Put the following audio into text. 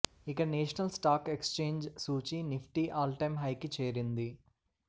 ఇక National Stock Exchange సూచీ Nifty all time హైకి చేరింది